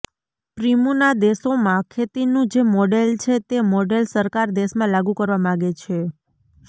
પિૃમના દેશોમાં ખેતીનું જે મોડેલ છે તે મોડેલ સરકાર દેશમાં લાગુ કરવા માગે છે